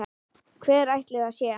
Hver ætli það sé?